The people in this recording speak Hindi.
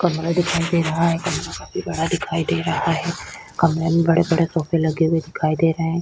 कमरा दिखाई दे रहा है कमरा काफी बड़ा दिखाई दे रहा है कमरे में बड़े-बड़े सोफे लगे हुए दिखाई दे रहे है।